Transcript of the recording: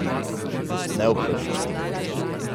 Neupravičeno.